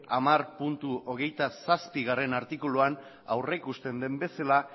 hamarhogeita zazpigarrena artikuluan aurrikusten duen bezala